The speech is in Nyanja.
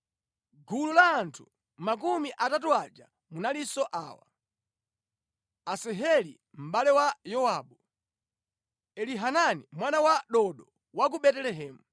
Mʼgulu la anthu makumi atatu aja munalinso awa: Asaheli mʼbale wa Yowabu, Elihanani mwana wa Dodo wa ku Betelehemu,